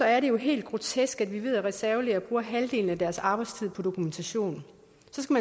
er det jo helt grotesk at vi ved at reservelæger bruger halvdelen af deres arbejdstid på dokumentation